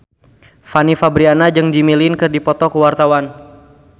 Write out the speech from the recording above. Fanny Fabriana jeung Jimmy Lin keur dipoto ku wartawan